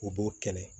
U b'o kɛnɛ